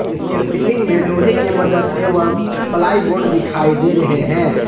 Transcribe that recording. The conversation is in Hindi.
इसके सीलिंग में लोहे के मदद एवम प्लाई बोर्ड दिखाई दे रहे हैं।